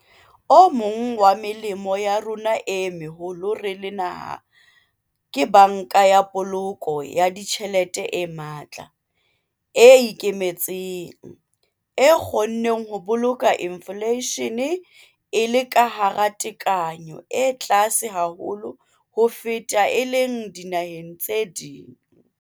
O mong wa melemo ya rona e meholo re le naha ke Banka ya Poloko ya Ditjhelete e matla, e ikemetseng, e kgonneng ho boloka infleishene e le ka hara tekanyo e tlase haholo ho feta e leng dinaheng tse ding.